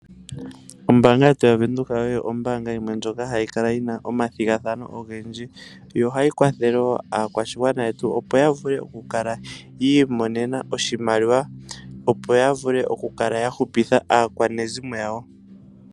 Ombaanga ye tu yaVenduka oyo ombaanga ndyoka ha yi kwathele aakwashigwana yetu, opo ya vule okwii monena oshimaliwa ya kwathele oo family dhawo.